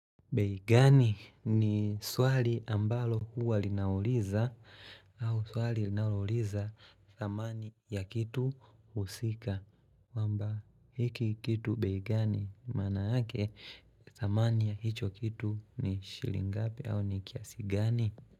Begani ni swali ambalo huwa linauliza au swali linauliza zamani ya kitu usika kwamba hiki kitu beigani mana hake thamani ya hicho kitu ni shilingapi au ni kiasigani.